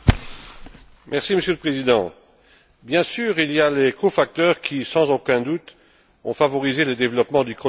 Monsieur le Président, bien sûr il y a les cofacteurs qui, sans aucun doute, ont favorisé le développement du choléra en Haïti.